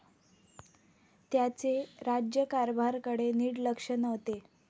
त्याचे राज्यकारभारकडे नीट लक्ष नव्हते.